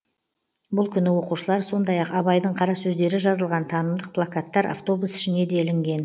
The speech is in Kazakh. бұл күні оқушылар сондай ақ абайдың қара сөздері жазылған танымдық плакаттар автобус ішіне делінген